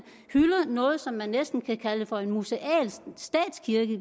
hylder noget som man næsten kan kalde for en museal statskirke i